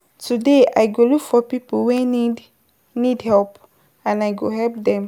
Today I go look for pipo wey need need help and I go help dem.